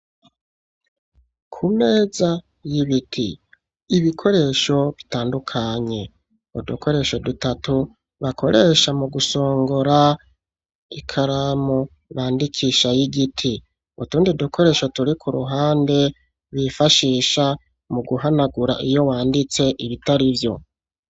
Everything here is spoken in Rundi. Kumeza y'ibiti, ibikoresho bitandukanye, udukoresho dutatu bakoresha mu gusongora ikaramu bandikisha y'igiti, utundi dukoresho turi k'uruhande bifashisha mu guhanagura iyo wanditse ibitarivyo.